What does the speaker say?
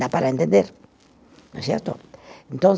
Dá para entender, não é certo?